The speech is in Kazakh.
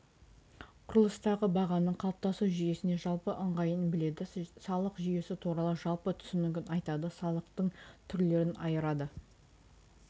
құрылыстағы бағаның қалыптасу жүйесіне жалпы ыңғайын біледі салық жүйесі туралы жалпы түсінігін айтады салықтың түрлерін айырады